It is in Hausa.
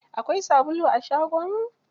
Akwai sabulu a shagon?